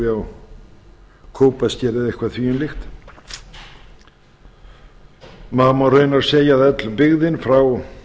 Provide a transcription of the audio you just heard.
á kópaskeri eða eitthvað þvíumlíkt maður má reyna að segja að öll byggðin frá